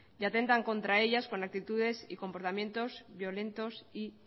y atentan contra ellas con actitudes y comportamientos violentos y